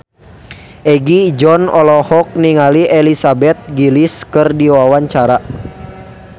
Egi John olohok ningali Elizabeth Gillies keur diwawancara